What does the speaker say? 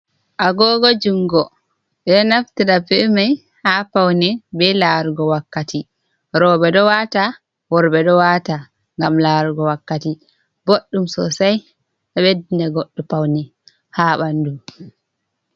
Agogo jungo ɓeɗo naftira bemai ha pawne be larugo wakkati, roɓe ɗo wata, worɓe ɗo wata ngam larugo wakkati, boɗɗum sosai a ɓeddina goɗɗo pawne ha ɓandu.